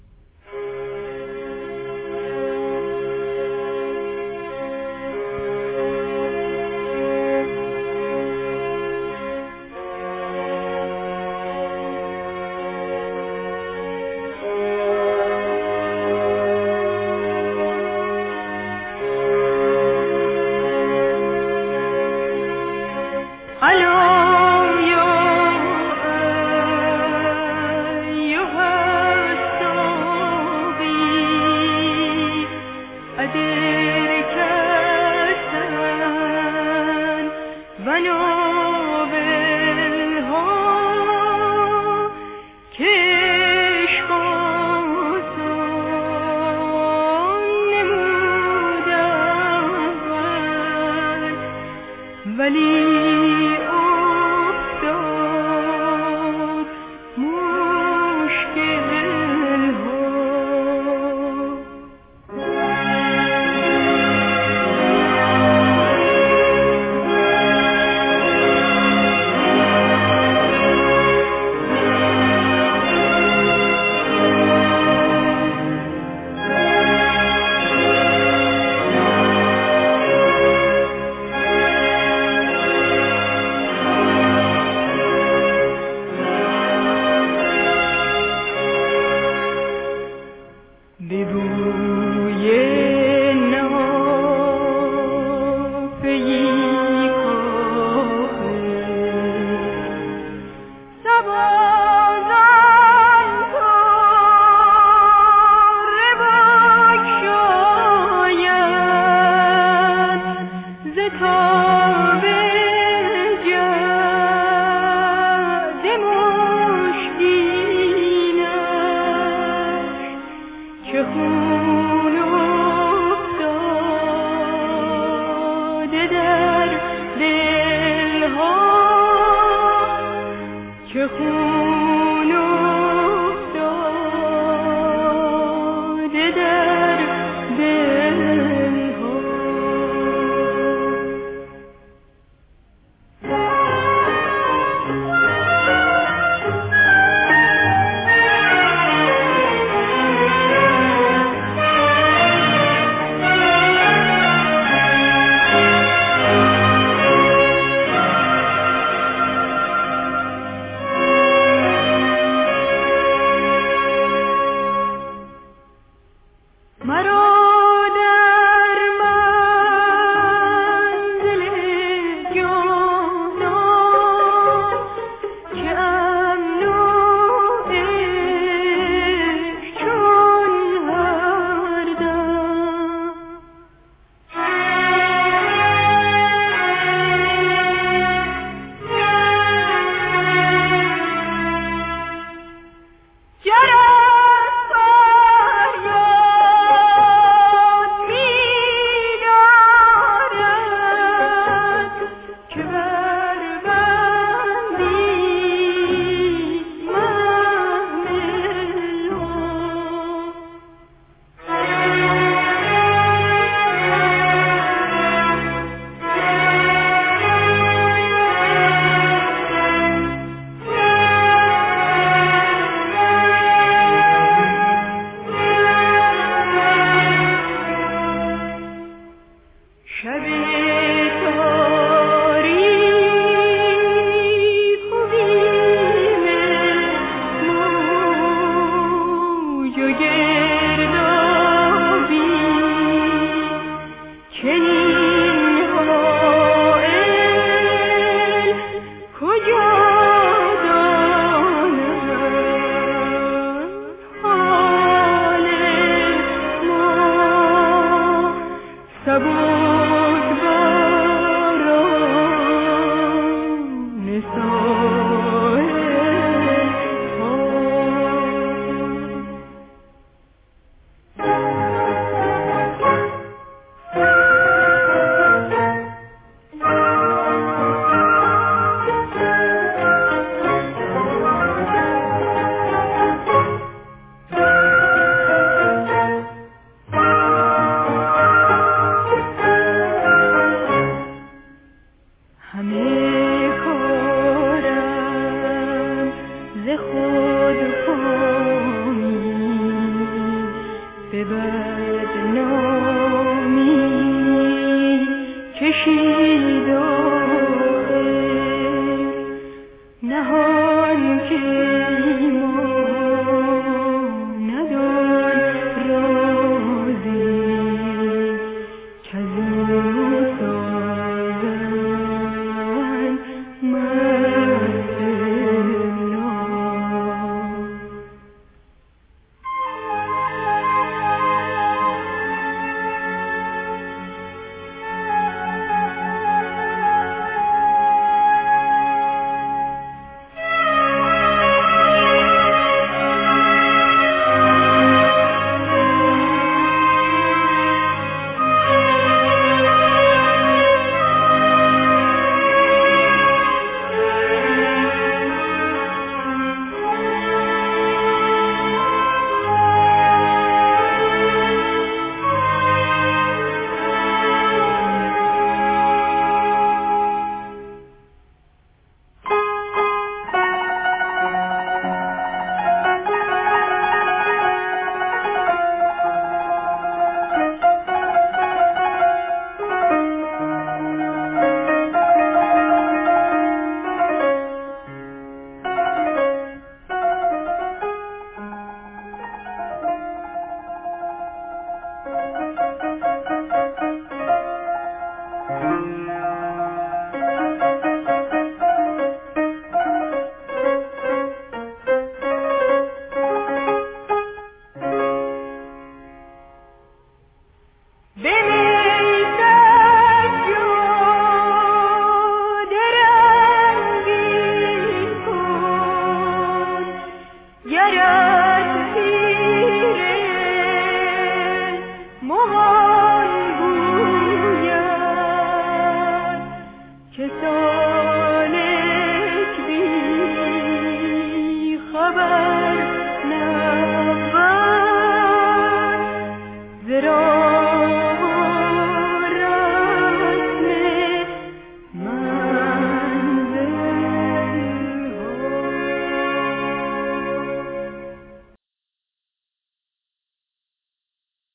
الا یا ایها الساقی ادر کأسا و ناولها که عشق آسان نمود اول ولی افتاد مشکل ها به بوی نافه ای کآخر صبا زان طره بگشاید ز تاب جعد مشکینش چه خون افتاد در دل ها مرا در منزل جانان چه امن عیش چون هر دم جرس فریاد می دارد که بربندید محمل ها به می سجاده رنگین کن گرت پیر مغان گوید که سالک بی خبر نبود ز راه و رسم منزل ها شب تاریک و بیم موج و گردابی چنین هایل کجا دانند حال ما سبک باران ساحل ها همه کارم ز خودکامی به بدنامی کشید آخر نهان کی ماند آن رازی کزو سازند محفل ها حضوری گر همی خواهی از او غایب مشو حافظ متیٰ ما تلق من تهویٰ دع الدنیا و اهملها